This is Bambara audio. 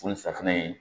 Fo ni safunɛ in